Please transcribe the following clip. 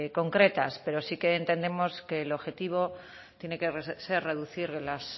concretas pero sí que entendemos que el objetivo tiene que ser reducir las